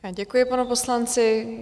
Děkuji panu poslanci.